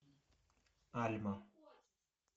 альма